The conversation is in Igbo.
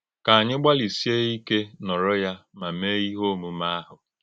Kà ányị gbalị́síé íké nọ́rọ̀ ya ma méé ìhè òmùmè́ áhụ̀.